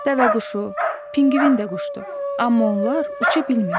Dəvəquşu, pinqvin də quşdur, amma onlar uça bilmirlər.